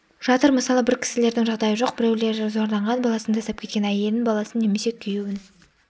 жатыр мысалы бір кісілердің жағдайы жоқ біреулері зорланған баласын тастап кеткен әйелін баласын немесе күйеуін